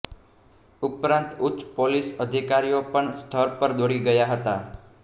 ઉપરાંત ઉચ્ચ પોલીસ અધિકારીઓ પણ સ્થળ પર દોડી ગયા હતા